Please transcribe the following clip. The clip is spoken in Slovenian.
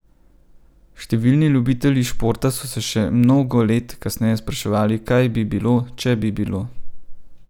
Številni ljubitelji športa so se še mnogo let kasneje spraševali, kaj bi bilo, če bi bilo.